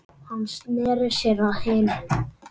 Hann sneri sér að hinum.